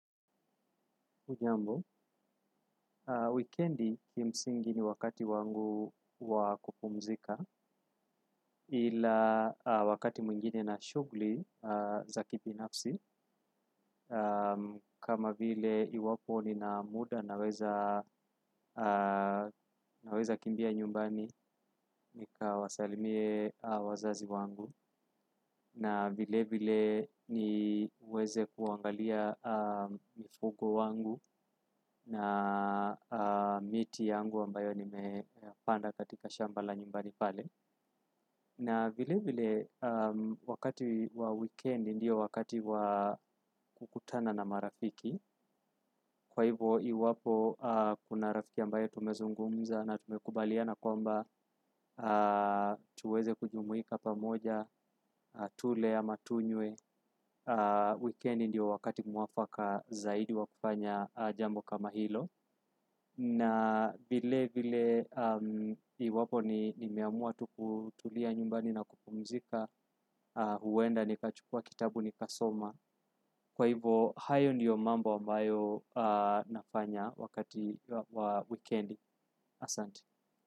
Hujambo, wikendi kimsingi ni wakati wangu wa kupumzika ila wakati mwingine na shughuli za kibinafsi. Kama vile iwapo nina muda naweza naweza kimbia nyumbani, nikawasalimie wazazi wangu. Na vile vile niweze kuangalia mifugo wangu na miti yangu ambayo nimepanda katika shamba la nyumbani pale. Na vilevile wakati wa wikendi ndio wakati wa kukutana na marafiki kwa hivo iwapo kuna rafiki ambayo tumezungumza na tumekubaliana kwamba tuweze kujumuika pamoja, tule ama tunywe, wikendi ndio wakati mwafaka zaidi wa kufanya jambo kama hilo. Na vile vile iwapo nimeamua tu kutulia nyumbani na kupumzika huenda nikachukua kitabu nikasoma. Kwa hivo, hayo ndiyo mambo ambayo nafanya wakati wa wikendi asante.